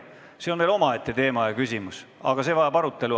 See on muidugi omaette teema, aga see vajab arutelu.